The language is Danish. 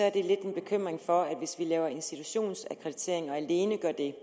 er det lidt en bekymring for at hvis vi laver institutionsakkreditering og alene gør det